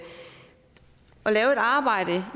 arbejde